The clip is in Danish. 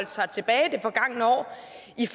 i